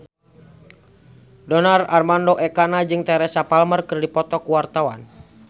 Donar Armando Ekana jeung Teresa Palmer keur dipoto ku wartawan